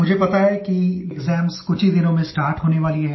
मुझे पता है कि एक्साम्स कुछ ही दिनों में स्टार्ट होने वाली हैं